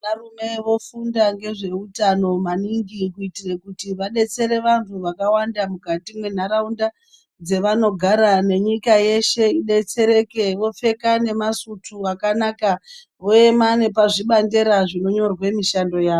Varume vofunda ngezvehutano maningi, kuitire kuti vadetsere vantu vakawanda mukati menharawunda, dzevanogara nenyika yeshe idetsereke. Vopfeka nemasutu akanaka voyema nepazvibandera zvinonyorwe mishando yawo.